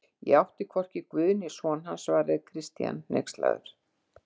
Ég átti hvorki við Guð né son hans, svaraði Christian hneykslaður.